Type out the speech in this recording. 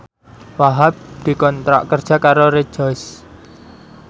Wahhab dikontrak kerja karo Rejoice